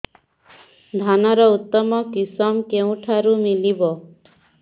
ଧାନର ଉତ୍ତମ କିଶମ କେଉଁଠାରୁ ମିଳିବ